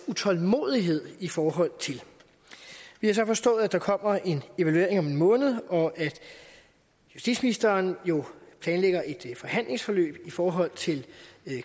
utålmodighed i forhold til vi har så forstået at der kommer en evaluering om en måned og at justitsministeren jo planlægger et forhandlingsforløb i forhold til